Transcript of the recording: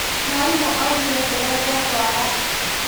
Mwarimũ augire tũrenge ndwara.